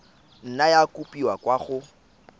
nna ya kopiwa kwa go